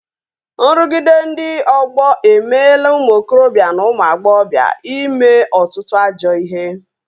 Nrụgide ndị ọgbọ emeela ụmụ okorobịa na ụmụ agbọghọbịa ime ọtụtụ ajọ ihe